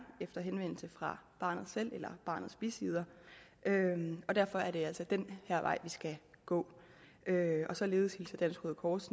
efter henvendelse fra barnet selv eller barnets bisidder og derfor er det altså den her vej vi skal gå således hilser dansk røde kors